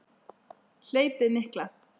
Hlaupið mikla